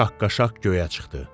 şaqqa-şaq göyə çıxdı.